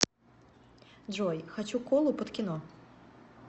джой хочу колу под кино